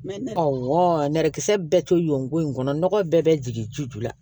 Awɔ nɛrɛkisɛ bɛɛ to yen nko in kɔnɔ nɔgɔ bɛɛ bɛ jigin ji ju la